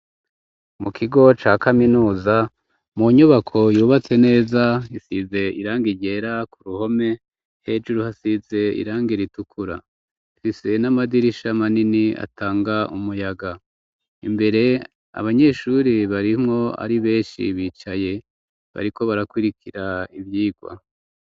Mu kigo ca kaminuza ,mu nyubako yubatse neza ,isize irangi ryera k'uruhome hejuru hasize irangi ritukura ,ifise n'amadirisha manini atanga umuyaga, imbere abanyeshuri barimwo ari beshi, bicaye bariko barakwirikira ivyigwa.